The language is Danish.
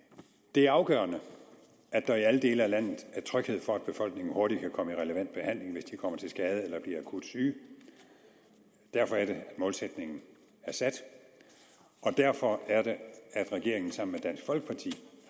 det er afgørende at der i alle dele af landet er tryghed for at befolkningen hurtigt kan komme i relevant behandling hvis de kommer til skade eller bliver akut syge derfor er det målsætningen er sat og derfor er det regeringen sammen